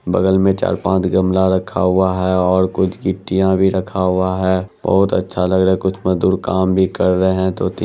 बगल में चार-पांच गमला रखा हुआ है और कुछ गिट्टिया भी रखा हुआ है बहुत अच्छा लग रहा है कुछ मजदूर काम भी कर रहे है दो-तीन--